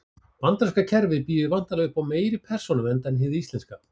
Bandaríska kerfið býður væntanlega upp á meiri persónuvernd en hið íslenska.